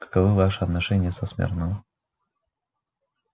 каковы ваши отношения со смирно